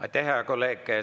Aitäh, hea kolleeg!